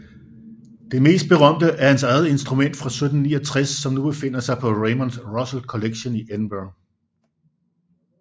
Det mest berømte er hans eget instrument fra 1769 som nu befinder sig på Raymond Russel Collection i Edinburgh